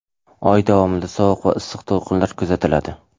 Oy davomida sovuq va issiq to‘lqinlar kuzatiladi.